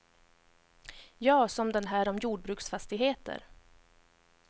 Ja, som den här om jorbruksfastigheter.